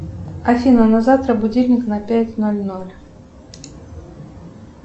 афина на завтра будильник на пять ноль ноль